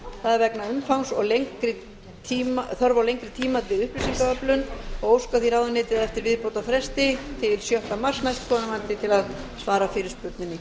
það er vegna umfangs og þarfar á lengri tíma fyrir upplýsingaöflun og óskar því ráðuneytið eftir viðbótarfresti til sjötta mars næstkomandi til að svara fyrirspurninni